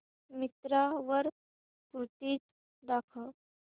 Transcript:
मिंत्रा वर कुर्तीझ दाखव